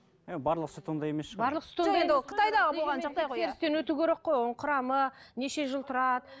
і барлық сүт ондай емес шығар өту керек қой оның құрамы неше жыл тұрады